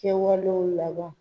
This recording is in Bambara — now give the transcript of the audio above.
Kɛwalew laban